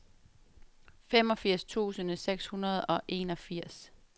femogfirs tusind seks hundrede og enogfirs